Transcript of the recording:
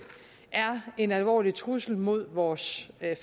er en alvorlig trussel mod vores